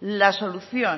la solución